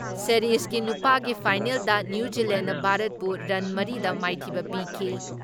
ꯁꯦꯔꯤꯖꯒꯤ ꯅꯨꯄꯥꯒꯤ ꯐꯥꯏꯅꯦꯜꯗ ꯅ꯭ꯌꯨ ꯖꯤꯂꯦꯟꯅ ꯚꯥꯔꯠꯄꯨ ꯔꯟ ꯃꯔꯤꯗ ꯃꯥꯏꯊꯤꯕ ꯄꯤꯈꯤ ꯫